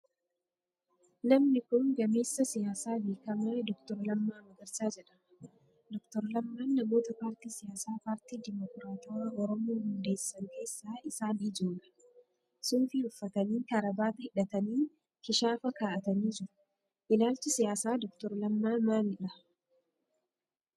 Namni kun gameessa siyaasaa beekamaa Dr. Lammaa Magarsaa jedhama. Dr. Lammaan namoota paartii siyaasaa Paartii Dimokiraatawaa Oromoo hundeessan keessaa isaan ijoodha. Suufii uffatanii, kaarabaata hidhatanii, kishaafa kaa'atanii jiru. Ilaalchi siyaasaa Dr. Lammaa maalidha?